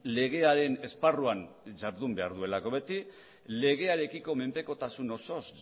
legearen esparruan jardun behar duelako beti legearekiko menpekotasun osoz